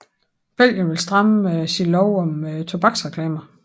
Belgien vil stramme sin lov om tobaksreklamer